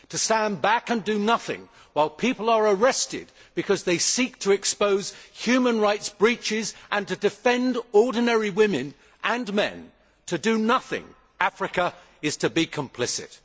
To stand back and do nothing while people are arrested because they seek to expose human rights breaches and to defend ordinary women and men, to do nothing, Africa, is to be complicit.